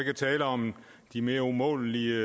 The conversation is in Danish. at tale om de mere umålelige